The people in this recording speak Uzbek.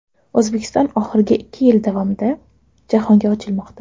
O‘zbekiston oxirgi ikki yil davomida jahonga ochilmoqda.